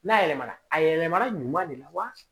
N'a yɛlɛmana a yɛlɛmana de la wa